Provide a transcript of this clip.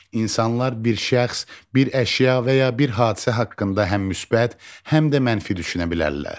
İnsanlar bir şəxs, bir əşya və ya bir hadisə haqqında həm müsbət, həm də mənfi düşünə bilərlər.